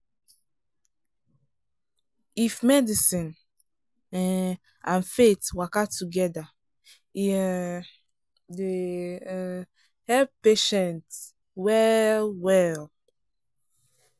]?[ if medicine um and faith waka together e um dey um help patient well-well.